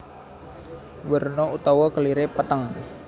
Werna utawa kelire peteng